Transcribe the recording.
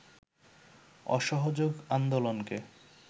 অসহযোগ আন্দোলনকে